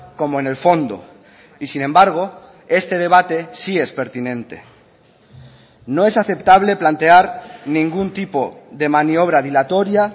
como en el fondo y sin embargo este debate sí es pertinente no es aceptable plantear ningún tipo de maniobra dilatoria